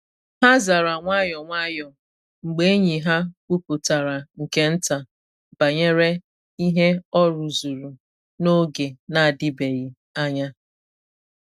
Ha zara nwayọ nwayọ mgbe enyi ha kwuputara nke nta banyere ihe ọ rụzuru n’oge na adịbeghị anya.